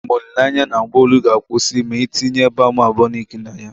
Enwere m olile anya na mgbu olu ga-akwụsị ma ị tinye balm Aboniki na ya.